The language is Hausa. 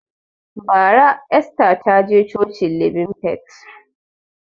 Bara Esther taje cocin libin fait